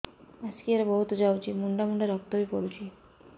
ମାସିକିଆ ରେ ବହୁତ ଯାଉଛି ମୁଣ୍ଡା ମୁଣ୍ଡା ରକ୍ତ ବି ପଡୁଛି